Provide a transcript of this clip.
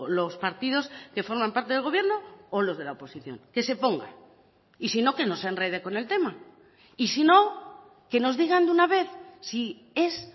los partidos que forman parte del gobierno o los de la oposición que se ponga y si no que no se enrede con el tema y si no que nos digan de una vez si es